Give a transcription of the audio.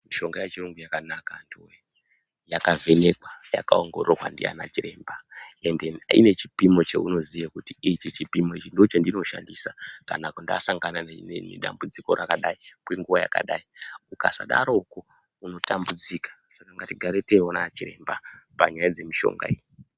Mishonga yechirungu yakanaka antu we yakavhenekwa yakaongororwa nana chiremba ende ine chipimo chaunoziva kuti ichi chipimo ndochandinoshandisa kana ndasangana nedambudziko rakati kwenguwa yakadaro ukasadaro unotambudzika Saka ngatigare teiona chiremba panyaya dzemishonga iyi.